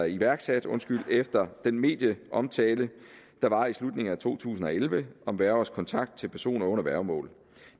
iværksat efter den medieomtale der var i slutningen af to tusind og elleve om værgers kontakt til personer under værgemål